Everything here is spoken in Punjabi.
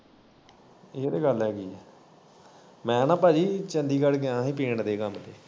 ਏ ਤੇ ਗੱਲ ਹੈਗੀ ਐ ਮੈ ਨਾ ਭਾਜੀ ਚੰਡੀਗੜ ਗਿਆ ਹੀ ਪੇਂਟ ਦੇ ਕੰਮ ਤੇ।